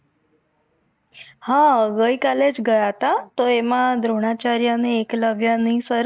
હા ભાઈ કાલે જ ગયા હતા તો એમાં દ્રોણાચાર્ય અને એકલવ્ય ની